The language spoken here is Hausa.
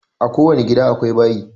A ko wani gida akwai bayi